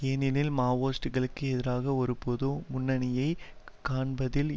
ஏனெனில் மாவோயிஸ்டுகளுக்கு எதிராக ஒரு பொது முன்னணியைக் காண்பதில்